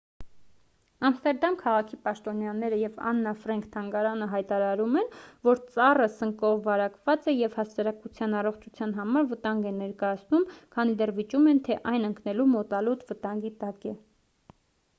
ամստերդամ քաղաքի պաշտոնյաները և աննա ֆրենք թանգարանը հայտարարում են որ ծառը սնկով վարակված է և հասարակության առողջության համար վտանգ է ներկայացնում քանի դեռ վիճում են թե այն ընկնելու մոտալուտ վտանգի տակ է